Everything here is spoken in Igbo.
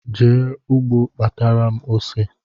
Jee ụgbọ kpatara m ose